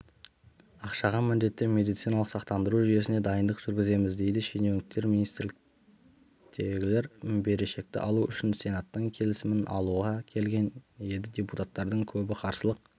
ақшаға міндетті медициналық сақтандыру жүйесіне дайындық жүргіземіз дейді шенеуніктер министрліктегілер берешекті алу үшін сенаттың келісімін алуға келген еді депутаттардың көбі қарсылық